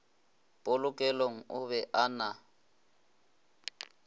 polokelong o be a na